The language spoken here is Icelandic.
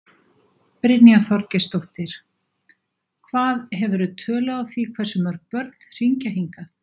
Brynja Þorgeirsdóttir: Hvað, hefurðu tölu á því hversu mörg börn hringja hingað?